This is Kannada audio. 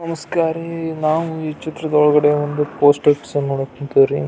ನಮಸ್ಕಾರಾರಿ ನಾವು ಈ ಚಿತ್ರದೊಳಗಡೆ ಒಂದು ಪೋಸ್ಟ್ ಆಫೀಸ್ ನೋಡಕ್ ಕುಂತೀವ್ರಿ.